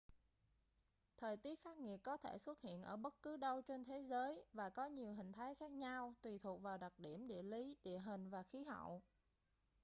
thời tiết khắc nghiệt có thể xuất hiện ở bất cứ đâu trên thế giới và có nhiều hình thái khác nhau tùy thuộc vào đặc điểm địa lý địa hình và khí hậu